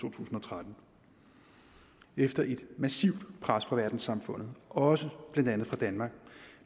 to tusind og tretten efter et massivt pres fra verdenssamfundet også blandt andet fra danmark